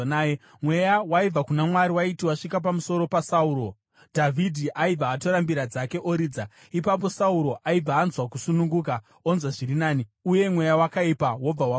Mweya waibva kuna Mwari waiti wasvika pamusoro paSauro, Dhavhidhi aibva atora mbira dzake oridza. Ipapo Sauro aibva anzwa kusununguka; onzwa zviri nani uye mweya wakaipa wobva wamusiya.